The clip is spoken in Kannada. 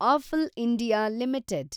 apple India limited